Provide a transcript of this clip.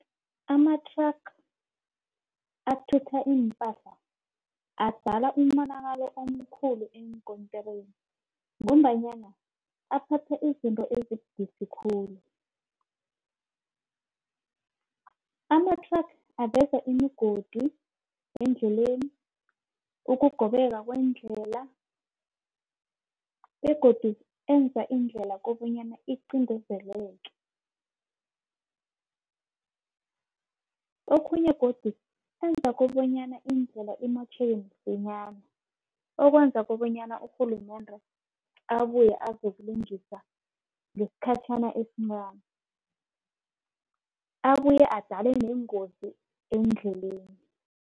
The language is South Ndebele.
Amathraga athutha iimpahla adala umonakalo omkhulu eenkontirini ngombanyana aphatha izinto ezibudisi khulu. Amathraga aveza imigodi endleleni ukugobeka kwendlela begodu enza indlela kobanyana iqindezeleke. Okhunye godu enza kobanyana indlela imotjheke msinyana. Okwenza kobanyana urhulumende abuye azokulungisa ngesikhatjhana esincani. Abuye adale neengozi eendleleni.